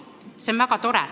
See kõik on väga tore.